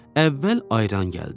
Əvvəl ayran gəldi.